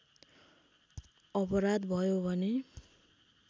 अपराध भयो भने